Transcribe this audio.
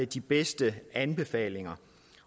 de bedste anbefalinger